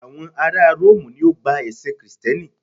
àwọn ará rómù ni o gba ẹsìn Kristẹni